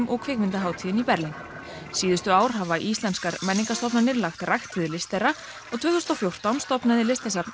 og kvikmyndahátíðinni í Berlín síðustu ár hafa íslenskar menningarstofnanir lagt rækt við list þeirra og tvö þúsund og fjórtán stofnaði Listasafn